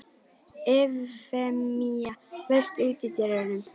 Evfemía, læstu útidyrunum.